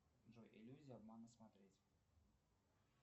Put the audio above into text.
джой иллюзия обмана смотреть